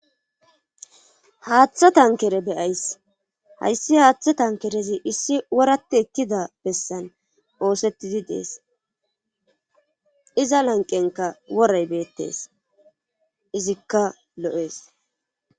haaththo tankere be7ays hayssi haaththo tankerezi issi worati ekkida bessan oosettidi dees iza lanqenka worey beettees izikka lo7ees.